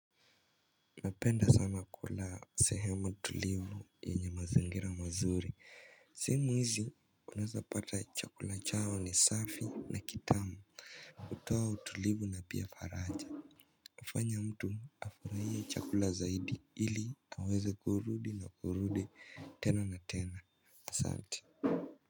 Napenda sana kula sehemu tulivu yenye mazingira mazuri. Simu hizi unaezapata chakula chao ni safi na kitamu. Kutoa utulivu na pia faraja. Hufanya mtu afurahie chakula zaidi ili aweze kurudi na kurudi tena na tena. Asanti.